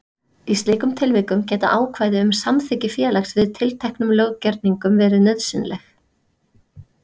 Í slíkum tilvikum geta ákvæði um samþykki félags við tilteknum löggerningum verið nauðsynleg.